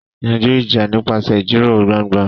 Yanjú ìjà nípasẹ̀ ìjíròrò gbangba.